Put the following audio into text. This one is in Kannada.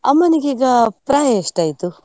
ಅಮ್ಮನಿಗೆ ಈಗ ಪ್ರಾಯ ಎಷ್ಟ್ ಆಯ್ತು?